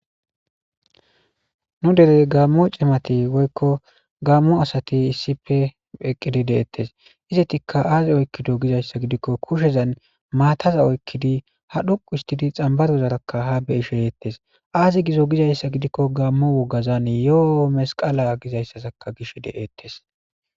Nu derey gaammo cimati woyiko gaammo asati issife eqqidi deettes izetikka aazi oykkido gizayssa gidikko kushezan maataza oykkidi ha dhuqu istidi xambarozarakka ha beisheyeettes aazi gizo gizayssa gidikko gaammo wogazan yoo masqala gizayssazakka gish de'ettes